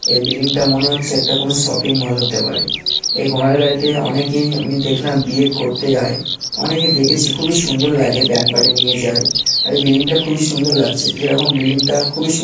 এই বিল্ডিং -টা মনে হচ্ছে একটা কোন শপিং মল হতে পারে । এই ঘোড়ার গাড়িতে অনেকেই আমি দেখলাম বিয়ে করতে যায় অনেকে দেখেছি খুবই সুন্দর লাগে ব্যান্ড পার্টি নিয়ে যায় । আরে বিল্ডিং -টা খুবই সুন্দর লাগছে যেরকম বিল্ডিং -টা খুবই সুন--